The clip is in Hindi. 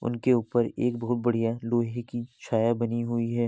उनके ऊपर एक बहुत बढ़िया लोहे की छाया बनी हुई है।